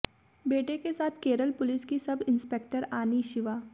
बेटे के साथ केरल पुलिस की सब इंस्पेक्टर आनी शिवा